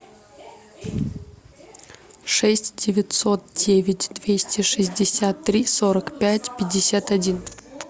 шесть девятьсот девять двести шестьдесят три сорок пять пятьдесят один